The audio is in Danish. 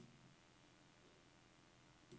Catharina Oddershede